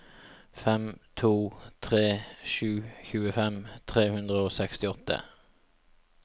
fem to tre sju tjuefem tre hundre og sekstiåtte